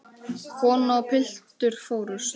Kona og piltur fórust.